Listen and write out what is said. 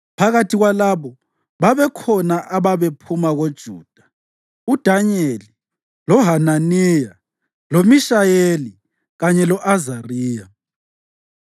Phakathi kwalabo babekhona ababephuma koJuda: uDanyeli, loHananiya, loMishayeli kanye lo-Azariya.